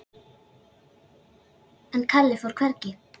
En Kalli fór hvergi.